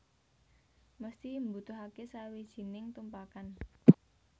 Mesthi mbutuhake sawijining tumpakan